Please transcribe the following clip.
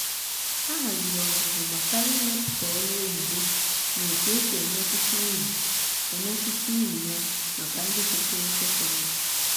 ha haziri ọzụzụ gbasara imepụta olu oyibo na otu e si emetụta uru emetụta uru ya maka ndị gụsịrị sekọndrị.